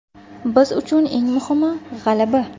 Biz uchun eng muhim g‘alaba.